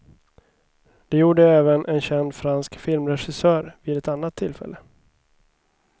Det gjorde även en känd fransk filmregissör vid ett annat tillfälle.